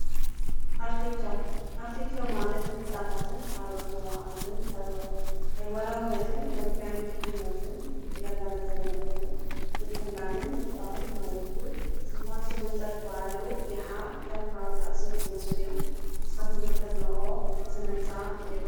ኣርቲክቸር፡- ኣርቲክቸር ማለት ህንፃታትን ካልኦት ናይ ተግባራይነትን መልክዕ ድሕንነትን እንዳጋናዘብና እንትንከውን ምትላምን ምፍጣርን ማለት እውን ጥንታዊ ህንፃ ዝባሃሉ ይሓ ካም ሓወልቲ ኣክሱም ዝባሃሉ እዮም ፡፡ ንስካትኩም ተድቅዎ ከ ስነ ህንፃ እንሄ ዶ?